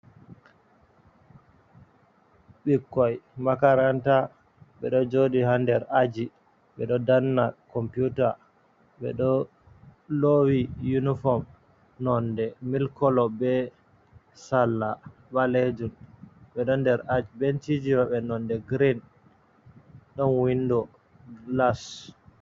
Ɓikkoi makaranta ɓeɗo joɗi ha nder aji ɓeɗo danna computar, ɓeɗo lowi uniform nonde milk kolo be salla ɓalejum ɓeɗo nder aji benciji maɓɓe nonde green ɗon window glas.